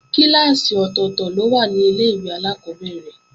Kíláàsì ọ̀tọ̀tọ̀ ló wà ní Ilé-ìwé alákọ́bẹ̀rẹ̀